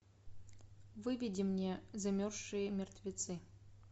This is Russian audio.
выведи мне замерзшие мертвецы